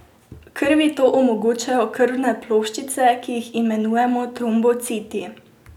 Krvi to omogočajo krvne ploščice, ki jih imenujemo trombociti.